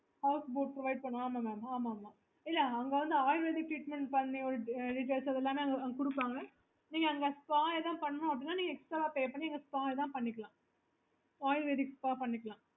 okay